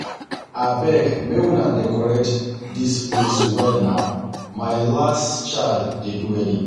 Abeg make una decorate dis place well na my last child dey do wedding